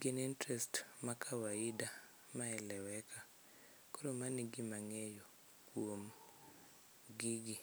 gin interest ma kawaida ma eleweka. Koro mano e gima ang'eyo kuom gigi.